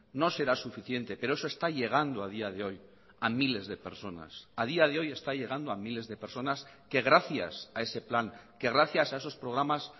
no será suficiente pero eso está llegando a día de hoy a miles de personas a día de hoy está llegando a miles de personas que gracias a ese plan que gracias a esos programas